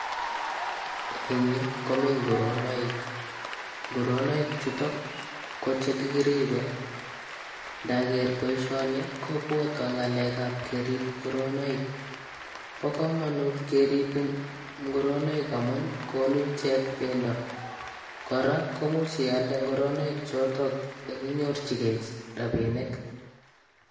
Eng yu komi ngoronoik. Ngoronoik chutok ko che kikiribe. Ndager boisioni kobotwo ng'alekab kerib ngoronoik. Bo kamanut kerib ngoronoik amun konu ichek bendo, kora komuch ialde ngoronoik chotok ekinyorchigei rabinik.